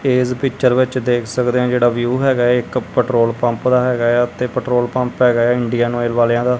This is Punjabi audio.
ਇੱਸ ਪਿਕਚਰ ਵਿੱਚ ਦੇਖ ਸਕਦੇ ਹਾਂ ਜਿਹੜਾ ਵਿਊ ਹੈਗਾ ਇੱਕ ਪੈਟ੍ਰੋਲ ਪੰਪ ਦਾ ਹਿਗਾ ਹੈ ਤੇ ਪੈਟ੍ਰੋਲ ਪੰਪ ਹਿਗਾ ਹੈ ਇੰਡੀਅਨ ਆਇਲ ਵਾਲਿਆਂ ਦਾ।